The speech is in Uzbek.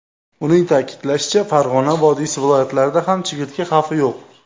Uning ta’kidlashicha, Farg‘ona vodiysi viloyatlarida ham chigirtka xavfi yo‘q.